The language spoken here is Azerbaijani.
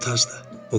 hələ buruntazdır.